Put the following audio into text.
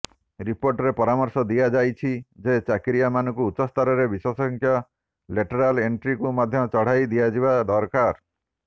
ରିପୋର୍ଟରେ ପରାମର୍ଶ ଦିଆଯାଇଛି ଯେ ଚାକିରିଆମାନଙ୍କୁ ଉଚ୍ଚସ୍ତରରେ ବିଶେଷଜ୍ଞଙ୍କ ଲେଟରାଲ ଏଣ୍ଟ୍ରିକୁ ମଧ୍ୟ ବଢ଼ାଇ ଦିଆଯିବା ଦରକାର